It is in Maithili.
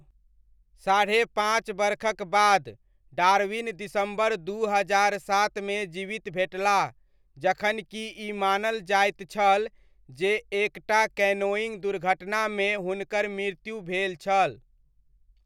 साढ़े पाँच बरखक बाद, डार्विन दिसम्बर दू हजार सातमे जीवित भेटलाह जखन कि ई मानल जाइत छल जे एक टा कैनोइङ्ग दुर्घटनामे हुनकर मृत्यु भेल छल।